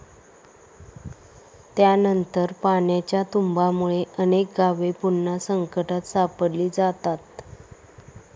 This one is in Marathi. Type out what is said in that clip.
त्यानंतर पाण्याच्या तुम्बामुळे अनेक गावे पुन्हा संकटात सापडली जातात.